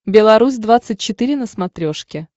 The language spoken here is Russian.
белорусь двадцать четыре на смотрешке